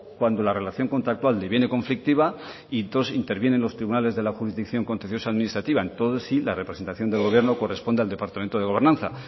cuando la relación contractual deviene conflictiva y dos interviene en los tribunales de la jurisdicción contencioso administrativa entonces sí la representación del gobierno corresponde al departamento de gobernanza